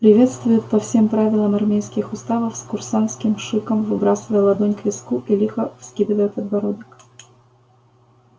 приветствуют по всем правилам армейских уставов с курсантским шиком выбрасывая ладонь к виску и лихо вскидывая подбородок